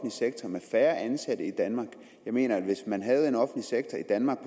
sektor med færre ansatte i danmark jeg mener at hvis man havde en offentlig sektor i danmark